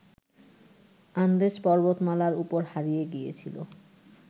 আন্দেজ পর্বতমালার ওপর হারিয়ে গিয়েছিল